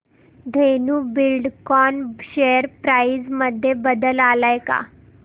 Dhenu Buildcon share price मध्ये बदल आलाय का